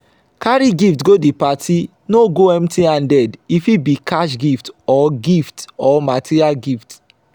carry gift go the parti no go empty handed e fit be cash gift or gift or material gift